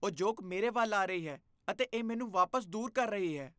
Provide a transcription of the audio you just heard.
ਉਹ ਜੋਕ ਮੇਰੇ ਵੱਲ ਆ ਰਹੀ ਹੈ ਅਤੇ ਇਹ ਮੈਨੂੰ ਵਾਪਸ ਦੂਰ ਕਰ ਰਹੀ ਹੈ।